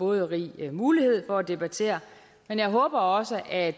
rig mulighed for at debattere men jeg håber også at